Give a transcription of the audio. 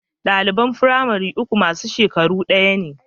Ɗaliban firamare uku masu shekaru ɗaya ne